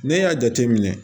Ne y'a jate minɛ